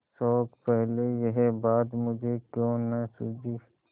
शोक पहले यह बात मुझे क्यों न सूझी